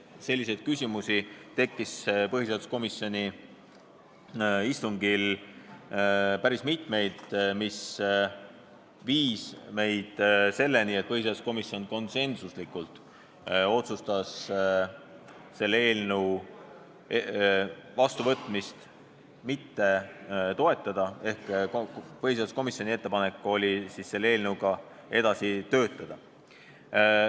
Selliseid küsimusi tekkis põhiseaduskomisjoni istungil päris mitmeid, mis viis selleni, et põhiseaduskomisjon konsensuslikult otsustas selle seaduse vastuvõtmist mitte toetada ehk põhiseaduskomisjoni ettepanek oli seadusega edasi töötada.